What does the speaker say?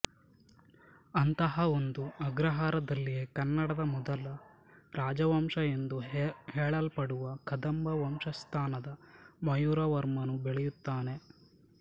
ಅಂತಹ ಒಂದು ಅಗ್ರಹಾರದಲ್ಲಿಯೇ ಕನ್ನಡದ ಮೊದಲ ರಾಜವಂಶ ಎಂದು ಹೇಳಲ್ಪಡುವ ಕದಂಬ ವಂಶಸ್ಥನಾದ ಮಯೂರವರ್ಮನು ಬೆಳೆಯುತ್ತಾನೆ